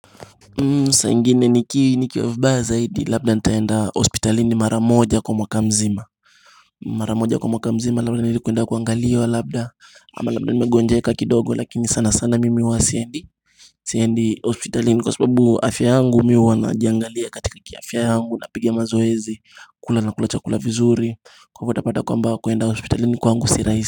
Sa ingine niki nikiwa vibaya zaidi labda nitaenda hospitalini mara moja kwa mwaka mzima Mara moja kwa mwaka mzima labda ni kuenda kuangaliwa labda ama labda nimegonjeka kidogo lakini sana sana mimi huwa siendi Siendi hospitalini kwa sababu afya yangu mi huwa najiangalia katika kiafya yangu, napiga mazoezi, kula nakula chakula vizuri. Kwa hivyo utapata kwamba kuenda hospitalini kwangu si rahisi.